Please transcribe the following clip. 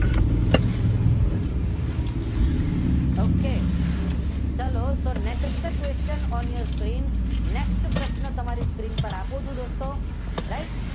okay ચાલો next question on your screen પછીનો પ્રશ્ન તમારી સ્કીન ઉપર આપું છુ દોસ્તો રાઇટ